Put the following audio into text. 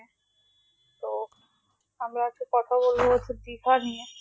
আমি একটা কথা বলবো বলছি দিঘা নিয়ে